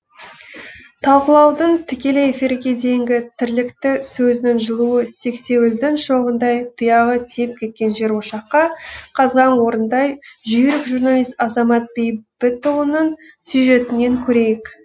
талқылаудан тікелей эфирге дейінгі тірлікті сөзінің жылуы сексеуілдің шоғындай тұяғы тиіп кеткен жер ошаққа қазған орындай жүйрік журналист азамат бейбітұлының сюжетінен көрейік